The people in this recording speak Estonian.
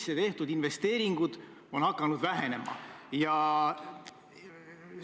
Ma mäletan, kuidas minul oli au asuda Taavi Rõivase järel tööle Stenbocki majja.